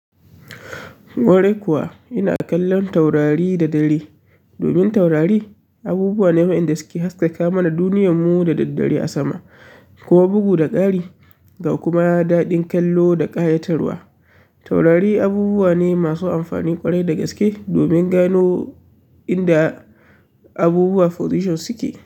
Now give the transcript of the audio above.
Kwarai kuwa ina kallon taurari da dare. Domin taurari abubuwa ne wa'inda suke haskaka mana duniyarmu da daddare a sama, kuma bugu da ƙari ga kuma daɗin kallo da ƙayatarwa. Taurari abubuwa masu amfani kwarai da gaske domin gano inda abubuwa forijan suke.